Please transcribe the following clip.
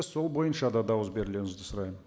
сол бойынша да дауыс берулеріңізді сұраймын